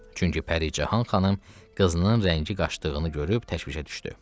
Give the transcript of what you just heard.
Çünki Pəricahan xanım qızının rəngi qaçdığını görüb təşvişə düşdü.